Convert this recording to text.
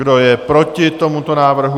Kdo je proti tomuto návrhu?